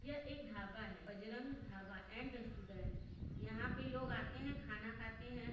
यह एक ढाबा है| बजरंग ढाबा एंड रेस्टोरेंट | यहाँ पे लोग आते है खाना खाते है।